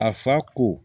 A fa ko